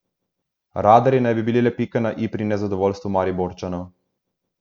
Radarji naj bi bili le pika na i pri nezadovoljstvu Mariborčanov.